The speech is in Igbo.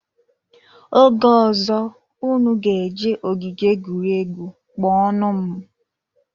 Oge ozo, unu ga eje ogige egwuregwu, kpo nụ m